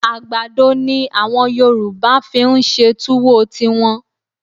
À̀gbàdo ni àwọn Yorùbá fi ń ṣe túwó tiwọn